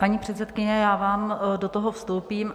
Paní předsedkyně, já vám do toho vstoupím.